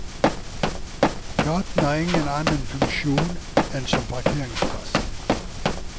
Gaten har ingen annen funksjon enn som parkeringsplass.